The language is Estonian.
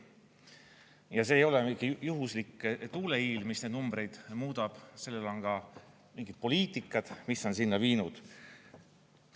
Ja see ei ole mingi juhuslik tuuleiil, mis neid numbreid muudab, on ka mingid poliitikad, mis on sinna viinud.